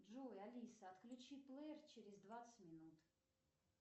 джой алиса отключи плеер через двадцать минут